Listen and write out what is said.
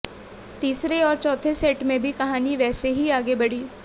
तीसरे और चौथे सेट में भी कहानी वैसे ही आगे बढ़ी